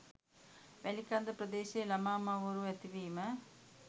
වැලිකන්ද ප්‍රදේශයේ ළමා මව්වරු ඇතිවීම